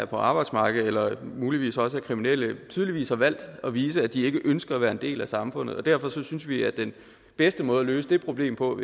på arbejdsmarkedet og muligvis også er kriminelle tydeligvis har valgt at vise at de ikke ønsker at være en del af samfundet derfor synes vi at den bedste måde at løse det problem på